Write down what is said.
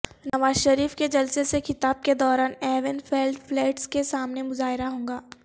نوازشریف کے جلسے سے خطاب کے دوران ایون فیلڈ فلیٹس کے سامنے مظاہرہ ہو گا